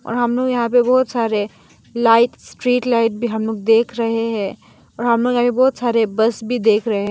और हम लोग यहां पे बहुत सारे लाइट्स स्ट्रीट लाइट भी हम लोग देख रहे हैं और हम लोग आगे बहुत सारे बस भी देख रहे हैं।